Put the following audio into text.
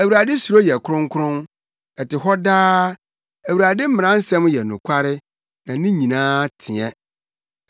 Awurade suro yɛ kronkron, ɛte hɔ daa. Awurade mmara nsɛm yɛ nokware na ne nyinaa teɛ.